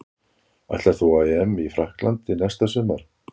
Ætlar þú á EM í Frakklandi næsta sumar?